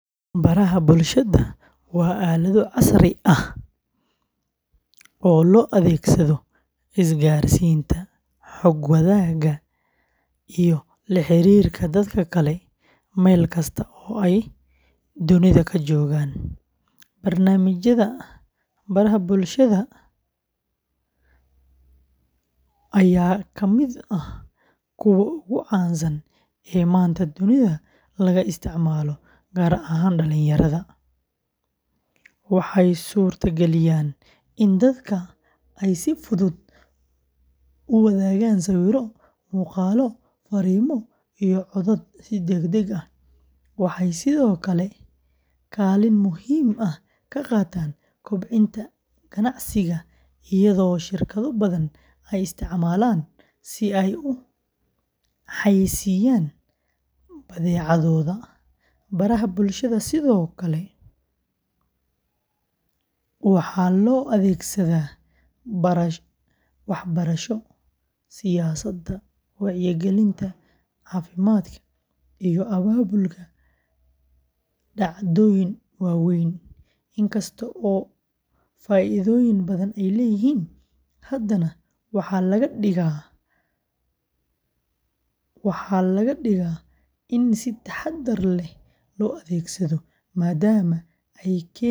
Baraha bulshada waa aalado casri ah oo loo adeegsado isgaarsiinta, xog wadaagga, iyo la xiriirka dadka kale meel kasta oo ay dunida ka joogaan. Barnaamijyada baraha bulshada, ayaa ka mid ah kuwa ugu caansan ee maanta dunida laga isticmaalo, gaar ahaan dhalinyarada. Waxay suurta galiyaan in dadka ay si fudud u wadaagaan sawirro, muuqaallo, fariimo, iyo codad si degdeg ah. Waxay sidoo kale kaalin muhiim ah ka qaataan kobcinta ganacsiga iyadoo shirkado badan ay isticmaalaan si ay u xayeysiiyaan badeecadooda. Baraha bulshada sidoo kale waxaa loo adeegsadaa waxbarasho, siyaasadda, wacyigelinta caafimaadka, iyo abaabulka dhacdooyin waaweyn. Inkasta oo faa’iidooyin badan ay leeyihiin, haddana waxaa laga digaa in si taxaddar leh loo adeegsado, maadaama ay keeni karaan culeys nafsi ah.